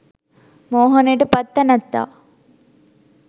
මෝහනයට පත් තැනැත්තා